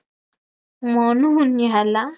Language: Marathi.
म्हणून ह्याला